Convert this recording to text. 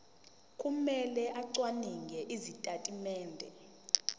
kumele acwaninge izitatimende